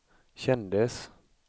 kändes